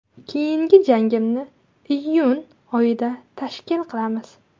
Keyingi jangimni iyun oyida tashkil qilamiz.